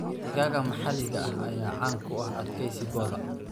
Digaagga maxalliga ah ayaa caan ku ah adkaysigooda.